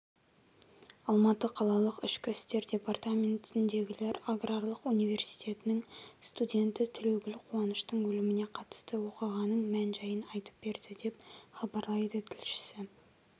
алматы қалалық ішкі істер департаментіндегілер аграрлық университеттің студенті тілеугүл қуаныштың өліміне қатысты оқиғаның мән-жайын айтып берді деп хабарлайды тілшісі